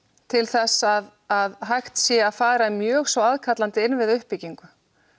til þess að að hægt sé að fara í mjög svo aðkallandi innviðauppbyggingu